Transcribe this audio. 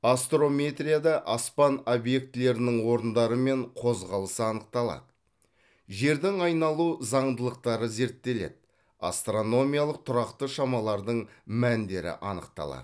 астрометрияда аспан объектілерінің орындары мен қозғалысы анықталады жердің айналу заңдылықтары зерттеледі астрономиялық тұрақты шамалардың мәндері анықталады